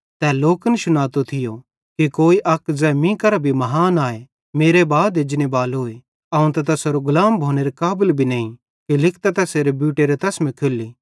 तै लोकन शुनातो थियो कि कोई अक ज़ै मीं केरां भी महान आए मेरे बाद एजनेबालोए अवं त तैसेरो गुलाम भोनेरे काबल भी नईं कि लिकतां तैसेरे बूटेरे तसमे खोल्ली